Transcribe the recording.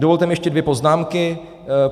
Dovolte mi ještě dvě poznámky.